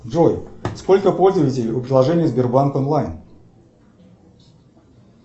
джой сколько пользователей у приложения сбербанк онлайн